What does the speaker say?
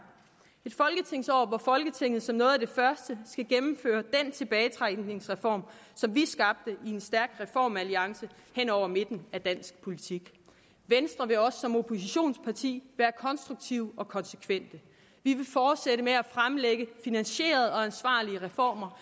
et folketingsår hvor folketinget som noget af det første skal gennemføre den tilbagetrækningsreform som vi skabte i en stærk reformalliance hen over midten af dansk politik venstre vil også som oppositionsparti være konstruktivt og konsekvent vi vil fortsætte med at fremlægge finansierede og ansvarlige reformer